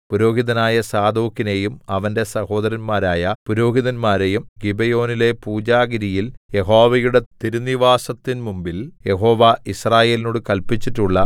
പുരോഹിതനായ സാദോക്കിനെയും അവന്റെ സഹോദരന്മാരായ പുരോഹിതന്മാരെയും ഗിബെയോനിലെ പൂജാഗിരിയിൽ യഹോവയുടെ തിരുനിവാസത്തിന്മുമ്പിൽ യഹോവ യിസ്രായേലിനോടു കല്പിച്ചിട്ടുള്ള